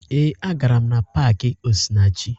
Ee, agara m na paakị Osinachi